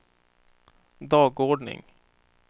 dagordning